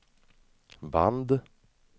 band